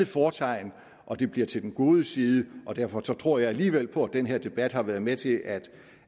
fortegn og det bliver til den gode side derfor tror jeg alligevel på at den her debat har været med til at